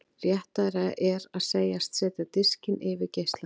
Réttara er að segjast setja diskinn yfir geislann.